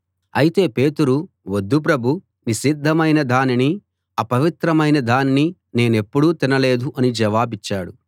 అయితే పేతురు వద్దు ప్రభూ నిషిద్ధమైన దానినీ అపవిత్రమైన దానినీ నేనెప్పుడూ తినలేదు అని జవాబిచ్చాడు